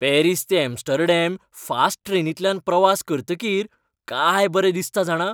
Paris ते Amsterdam fast ट्रेनींतल्यान प्रवास करतकीर काय बरें दिसता जाणा.